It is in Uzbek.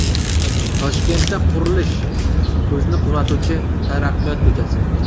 Toshkentda qurilish: Ko‘zni quvnatovchi Taraqqiyot ko‘chasi.